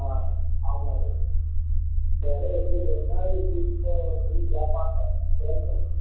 அஹ் ஆமா விவேக் இந்த தடவை எப்படியும் ரெண்டு நாள் கூட்டிட்டு போக சொல்லி கேப்பாங்க கேக்கணும்